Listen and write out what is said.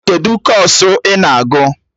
Kedụ kọọsụ I na-agụ?